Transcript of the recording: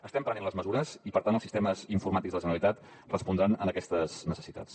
estem prenent les mesures i per tant els sistemes informàtics de la generalitat respondran a aquestes necessitats